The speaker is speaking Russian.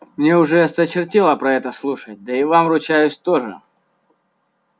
мне уже осточертело про это слушать да и вам ручаюсь тоже